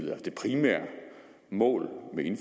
mål